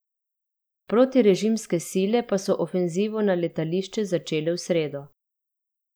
Protirežimske sile pa so ofenzivo na letališče začele v sredo.